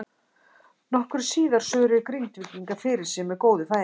Nokkru síðar svöruðu Grindvíkingar fyrir sig með góðu færi.